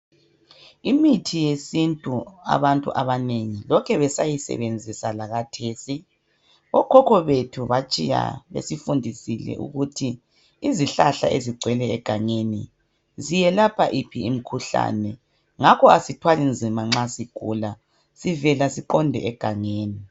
Imithi yesintu abantu abanengi lokhe besayisebenzisa lakhathesi. Okhokho bethu batshiya besifundisile ukuthi izihlahla ezigcwele egangeni iyelapha yiphi imikhuhlane ngakho asithwali nzima nxa sigula sivele siqonde egangeni.